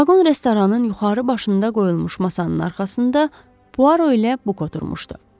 Vaqon restoranın yuxarı başında qoyulmuş masanın arxasında Puaro ilə Buk oturmuşdu.